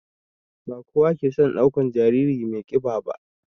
Ba kowa ke son ɗaukan jariri mai ƙiba ba